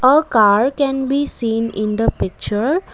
a car can be seen in the picture.